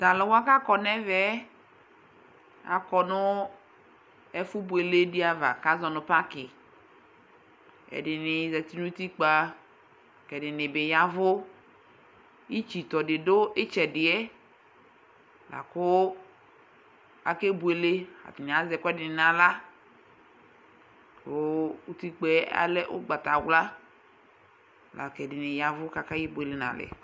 Tʋ alʋwa kʋ akɔ nʋ ɛvɛ yɛ, akɔ nʋ ɛfʋ buele dɩ ava, kʋ azɔ nʋ pakɩ, ɛdɩnɩ zati nʋ utikpǝ la kʋ ɛdɩnɩ bɩ ya ɛvʋ Itsitɔ dɩ dʋ ɩtsɛdɩ yɛ, la kʋ akebuele, atanɩ azɛ ɛkʋ ɛdɩnɩ nʋ aɣla, kʋ utikpǝ yɛ alɛ ʋgbata wla, la kʋ ɛdɩnɩ ya ɛvʋ kʋ akebuele nʋ alɛ